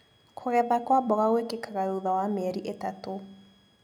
Kũgetha kwa mboga gwĩkikaga thutha wa mĩeri ĩtatũ.